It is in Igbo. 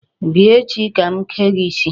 Bịa echi ka m kee gị isi.